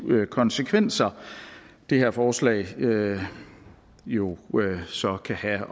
konsekvenser det her forslag jo jo så kan have